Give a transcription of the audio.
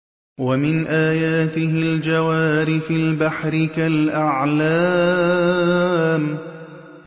وَمِنْ آيَاتِهِ الْجَوَارِ فِي الْبَحْرِ كَالْأَعْلَامِ